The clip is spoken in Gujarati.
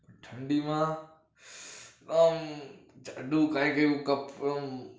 ઠડીમાં અમ જાડું કઈક એવું